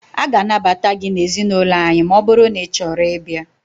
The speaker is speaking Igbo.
A ga anabata gị na ezinaụlọ anyị maọbụru na Ị chọrọ ị bia